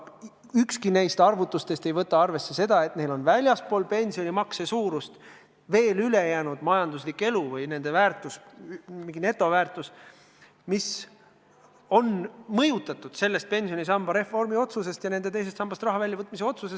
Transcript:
Ükski neist arvutustest ei võta arvesse seda, et inimestel on väljaspool pensionimakset ka muu majanduslik vara, mingi netoväärtus, mida on mõjutanud pensionisamba reformiga seoses tehtud otsus, teisest sambast raha väljavõtmise otsus.